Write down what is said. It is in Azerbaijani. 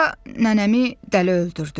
Sonra nənəmi dələ öldürdü.